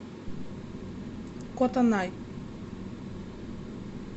котонай